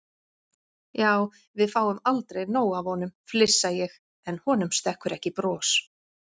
Já, við fáum aldrei nóg af honum, flissa ég en honum stekkur ekki bros.